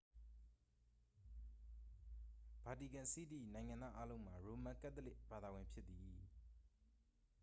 ဗာတီကန်စီးတီး၏ နိုင်ငံသားအားလုံးမှာ ရိုမန်ကတ်သလစ်ဘာသာဝင် ဖြစ်သည်